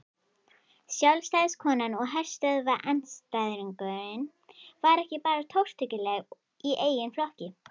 Sjálfstæðiskonan og herstöðvaandstæðingurinn var ekki bara tortryggileg í eigin flokki.